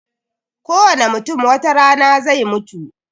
Kowane mutum watarana zai mutu